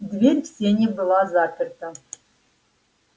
дверь в сени была заперта